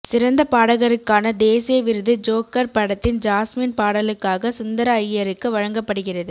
சிறந்த பாடகருக்கான தேசிய விருது ஜோக்கர் படத்தின் ஜாஸ்மின் பாடலுக்காக சுந்தர அய்யருக்கு வழங்கப்படுகிறது